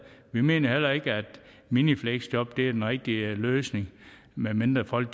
vi mener heller ikke at minifleksjob er den rigtige løsning medmindre folk